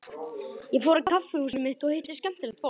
Ég fór á kaffihúsið mitt og hitti skemmtilegt fólk.